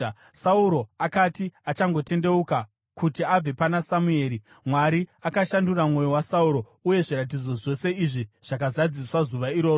Sauro akati achangotendeuka kuti abve pana Samueri, Mwari akashandura mwoyo waSauro, uye zviratidzo zvose izvi zvakazadziswa zuva iroro.